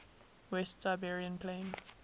west siberian plain